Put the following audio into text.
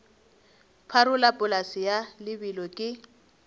pharola polase ya lebelo ke